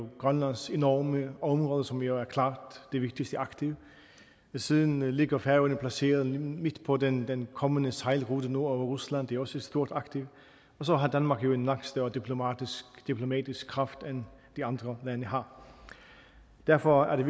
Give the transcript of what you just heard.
grønlands enorme område som jo er klart det vigtigste aktiv siden ligger færøerne jo placeret midt på den den kommende sejlrute nord om rusland det er også et stort aktiv og så har danmark jo en langt større diplomatisk kraft end de andre lande har derfor er det